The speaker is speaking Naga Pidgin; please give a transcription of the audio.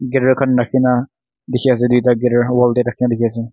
guitar khan rakhi kina dekhi ase duita guitar wall te rakhi kina dekhi ase.